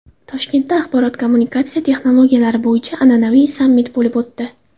Toshkentda axborot-kommunikatsiya texnologiyalari bo‘yicha an’anaviy sammit bo‘lib o‘tdi.